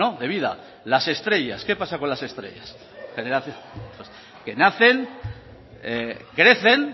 de vida las estrellas qué pasa con las estrellas que nacen crecen